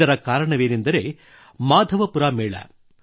ಇದರ ಕಾರಣವೆಂದರೆ ಮಾಧವಪುರ ಮೇಳ